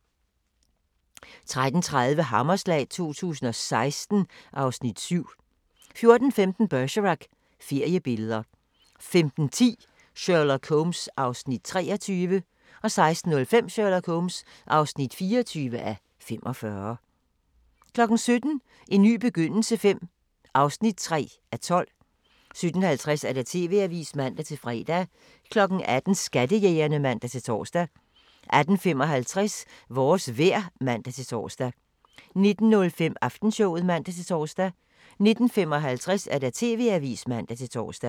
13:30: Hammerslag 2016 (Afs. 7) 14:15: Bergerac: Feriebilleder 15:10: Sherlock Holmes (23:45) 16:05: Sherlock Holmes (24:45) 17:00: En ny begyndelse V (3:12) 17:50: TV-avisen (man-fre) 18:00: Skattejægerne (man-tor) 18:55: Vores vejr (man-tor) 19:05: Aftenshowet (man-tor) 19:55: TV-avisen (man-tor)